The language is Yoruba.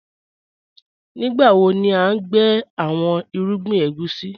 Nígbàwo ni à n gbẹ̀ awọn irúgbìn ègúsi?